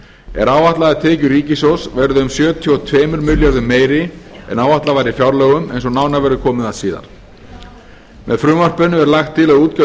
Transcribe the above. er áætlað að tekjur ríkissjóðs verði um sjötíu og tveimur milljörðum meiri en áætlað var í fjárlögum eins og nánar verður komið að síðar með frumvarpinu er lagt til að útgjöld